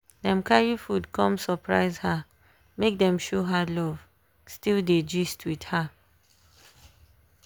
dem carry food come surprise her make dem show her love still dey gist with her